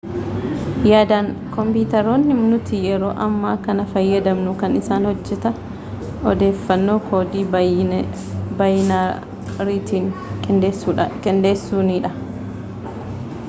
yaadaan koompitaroonni nuti yeroo ammaa kana fayyadamnu kan isaan hojjetan odeeffannoo koodii baayinariitiin qindeessuunidha